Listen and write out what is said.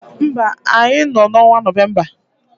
No, we are in the month of Novemba